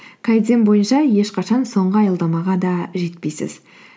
бойынша ешқашан соңғы аялдамаға да жетпейсіз